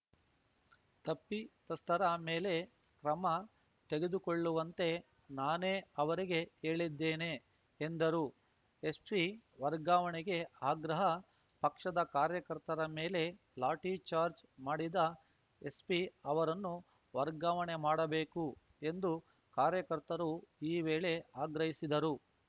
ತಪ್ಪಿತಸ್ಥರ ಮೇಲೆ ಕ್ರಮ ತೆಗೆದುಕೊಳ್ಳುವಂತೆ ನಾನೇ ಅವರಿಗೆ ಹೇಳಿದ್ದೇನೆ ಎಂದರು ಎಸ್ಪಿ ವರ್ಗಾವಣೆಗೆ ಆಗ್ರಹ ಪಕ್ಷದ ಕಾರ್ಯಕರ್ತರ ಮೇಲೆ ಲಾಠಿ ಚಾರ್ಜ್ ಮಾಡಿದ ಎಸ್ಪಿ ಅವರನ್ನು ವರ್ಗಾವಣೆ ಮಾಡಬೇಕು ಎಂದು ಕಾರ್ಯಕರ್ತರು ಈ ವೇಳೆ ಆಗ್ರಹಿಸಿದರು